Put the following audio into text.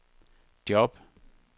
job